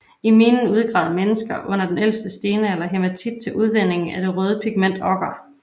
I minen udgravede menesker under den ældste stenalder hæmatit til udvinding af det røde pigment okker